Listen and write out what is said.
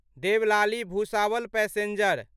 Deolali Bhusawal passenger